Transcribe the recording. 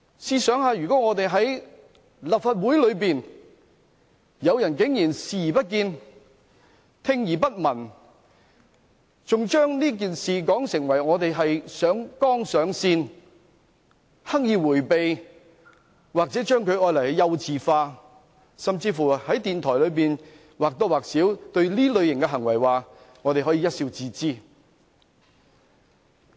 試想想在立法會內竟然有人對這種行為視而不見、聽而不聞，還把這件事說成是上綱上線，刻意迴避，或將之"幼稚化"，甚至在電台節目中或多或少表示對這類行為可以一笑置之。